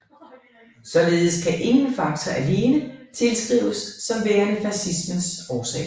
Således kan ingen faktor alene tilskrives som værende fascismens årsag